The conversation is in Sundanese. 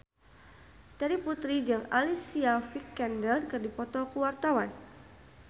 Terry Putri jeung Alicia Vikander keur dipoto ku wartawan